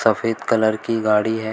सफेद कलर कि गाड़ी है।